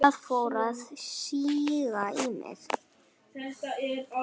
Það fór að síga í mig.